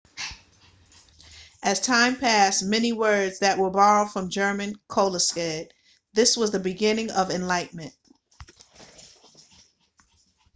as time passed many words that were borrowed from german coalesced this was the beginning of enlightenment